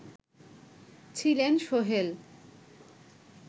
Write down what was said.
ছিলেন সোহেল